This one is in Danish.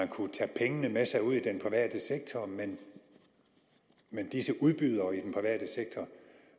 kunne tage pengene med sig ud i den private sektor men disse udbydere i den private sektor